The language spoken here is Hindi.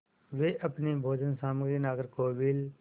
वे अपनी भोजन सामग्री नागरकोविल